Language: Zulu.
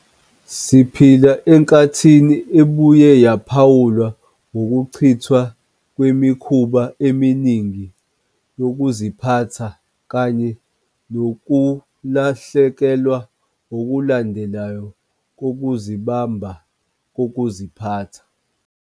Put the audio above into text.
Siphila enkathini ebuye yaphawulwa ngokuchithwa kwemikhuba eminingi yokuziphatha kanye nokulahlekelwa okulandelayo kokuzibamba kokuziphatha.